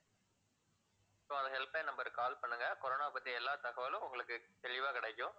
so அந்த helpline number க்கு call பண்ணுங்க corona பத்திய எல்லா தகவலும் உங்களுக்கு தெளிவா கிடைக்கும்